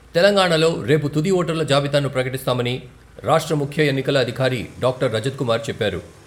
తెలంగాణలో రేపు తుది ఓటర్ల జాబితాను ప్రకటిస్తామని రాష్ట్ర ముఖ్య ఎన్నికల అధికారి డాక్టర్ రజత్ కుమార్ చెప్పారు.